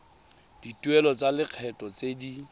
dituelo tsa lekgetho tse di